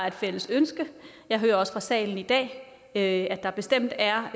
et fælles ønske jeg hører også fra salen i dag at der bestemt er